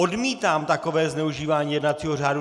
Odmítám takové zneužívání jednacího řádu.